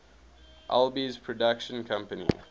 alby's production company